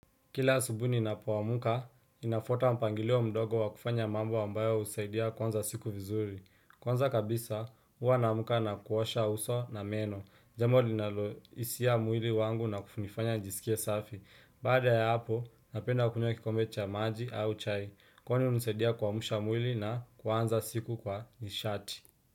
Kila asubuhi ninapoamka ninafuata mpangilio mdogo wa kufanya mambo ambayo husaidia kuanza siku vizuri. Kwanza kabisa, huwa naamka na kuosha uso na meno. Jambo linalo hisia mwili wangu na kunifanya nijiskie safi. Baada ya hapo, napenda kunywa kikombe cha maji au chai. Kwani hunisaidia kuamsha mwili na kuanza siku kwa nishati.